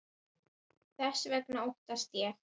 Þess vegna óttast ég.